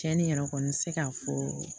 Cɛni yɛrɛ kɔni bɛ se k'a fɔ